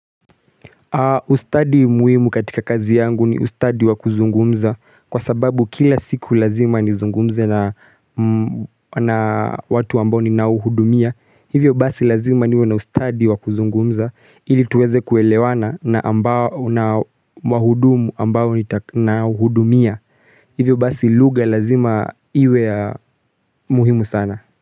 Ustadi muhimu katika kazi yangu ni ustadi wa kuzungumza kwa sababu kila siku lazima nizungumze na watu ambao ninaouhudumia. Hivyo basi lazima niwe na ustadi wa kuzungumza ili tuweze kuelewana na wahudumu ambao ninawahudumia. Hivyo basi lugha lazima iwe ya muhimu sana.